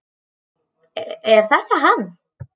Er þetta hann?